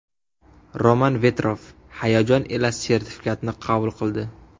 Roman Vetrov hayojon ila sertifikatni qabul qildi.